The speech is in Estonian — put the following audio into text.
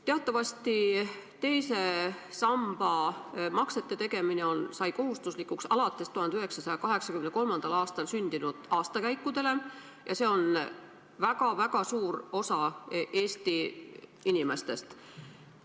Teatavasti sai teise samba maksete tegemine kohustuslikuks alates 1983. aastast sündinutele – see on väga-väga suur osa Eesti inimestest.